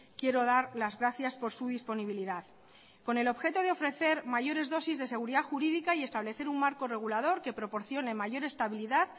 quiero dar las gracias por su disponibilidad con el objeto de ofrecer mayores dosis de seguridad jurídica y establecer un marco regulador que proporcione mayor estabilidad